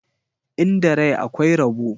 Inda rai akwai rabo.